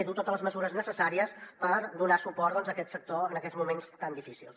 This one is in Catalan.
i dur totes les mesures necessàries per donar suport a aquest sector en aquests moments tan difícils